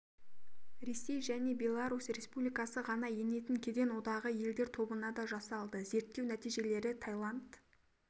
ресей және беларусь республикасы ғана енетін кеден одағы елдері тобына да жасалды зерттеу нәтижелері таиланд